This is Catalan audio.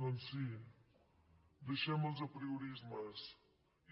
doncs sí deixem els apriorismes